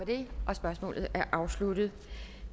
det vil